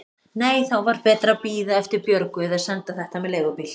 Nei, þá var betra að bíða eftir Björgu eða senda þetta með leigubíl.